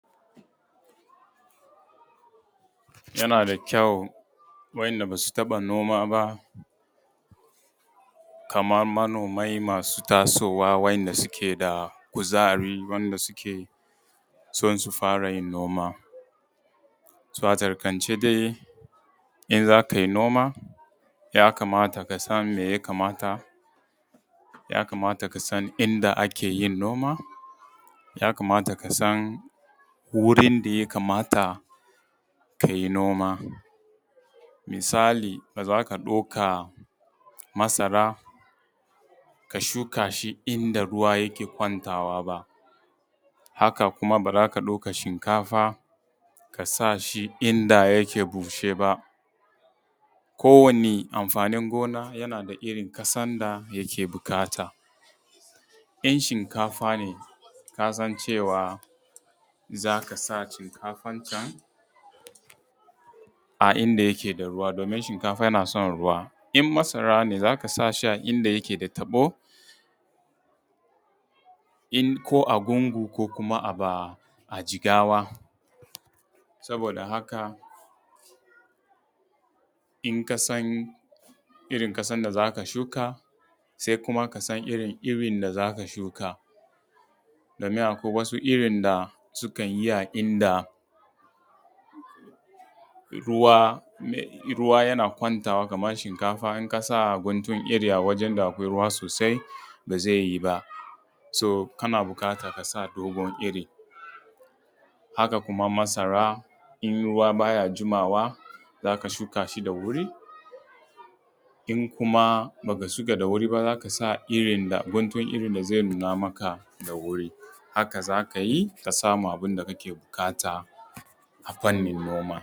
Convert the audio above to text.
Yana da kyau wainda basu taba noma ba kaman manomai masu tasowa waɗanda suke da kuzari wanda suke son su fara yin noma. To, a tsakaitance dai in zakai noma ya kamata kasan me ya kamata, ya kamata kasan inda ake yin noman, ya kamata kasan wurin da ya kamata kai noma misali da za ka ɗauka masara ka shuka shi inda ruwa yake kwantawa ba. Haka kuma ba za ka ɗika shinkafa ka shuka shi inda yake bushe ba ko wani amfanin gona yana da irin ƙasan da yake buƙata, in shinkafa ne kasan cewa za ka sa shinkafanka a inda yake da ruwa domin shinkafa yana son ruwa, in masara ne za ka sa shi a inda yake da taɓo ko a bunbu ko kuma a jigawa sabida haka in ka san irin ƙasan da za ka shuka se kuma ka san irin irin da za ka shuka domin akwai wasu irin da sukan yi a inda ruwa ruwa yana kwantawa kaman shinkafa, in ka sa guntun iri da akwai ruwa sosai ba ze yi ba so kana buƙatan ka sa dogon iri. Haka kuma masara in ruwa ba ya jimawa za ka shuka shi da wuri in kuma ba ka shuka da wuri za ka iri guntun irin da ze nuna maka da wuri haka za ka yi ka samu abun da kake buƙata a fannin noma.